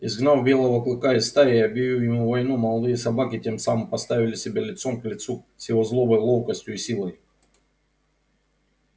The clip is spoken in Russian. изгнав белого клыка из стаи и объявив ему войну молодые собаки тем самым поставили себя лицом к лицу с его злобой ловкостью и силой